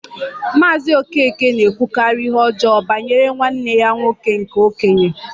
Maazị Okeke na-ekwukarị ihe ọjọọ banyere nwanne ya nwoke nke okenye